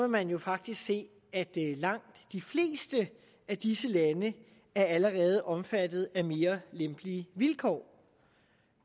man jo faktisk se at langt de fleste af disse lande allerede er omfattet af mere lempelige vilkår